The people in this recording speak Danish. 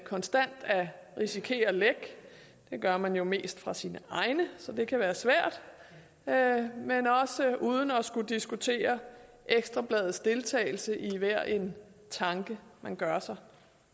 konstant at risikere en læk det gør man jo mest fra sine egne så det kan være svært men også uden at skulle diskutere ekstra bladets deltagelse i hver en tanke man gør sig